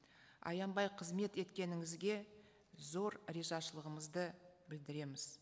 аянбай қызмет еткеніңізге зор ризашылығымызды білдіреміз